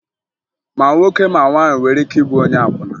Ma nwoke ma nwaanyị nwere ike ịbụ onye akwụna